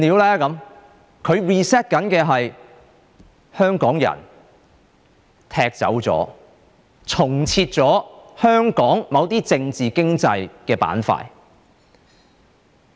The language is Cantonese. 她要 reset 的是，踢走香港人，重設香港某些政治經濟板塊。